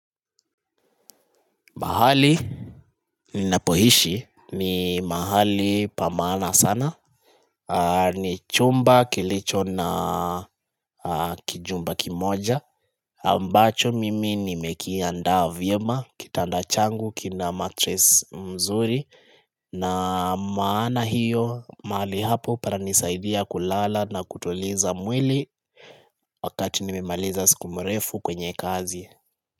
Mahali ninapohishi ni mahali pamaana sana ni chumba kilicho na kijumba kimoja ambacho mimi nimekianda vyema kitanda changu kina matress mzuri na maana hiyo mahali hapo para nisaidia kulala na kutoliza mweli Wakati nimemaliza siku mrefu kwenye kazi.